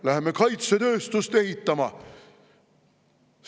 Läheme kaitsetööstust ehitama!